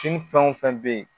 Kin fɛn wo fɛn be yen